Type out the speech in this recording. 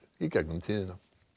í gegnum tíðina